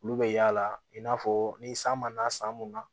Olu bɛ yaala i n'a fɔ ni san ma na san mun na